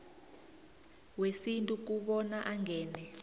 wesintu kobana angene